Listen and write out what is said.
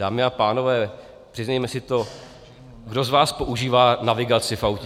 Dámy a pánové, přiznejme si to, kdo z vás používá navigaci v autě.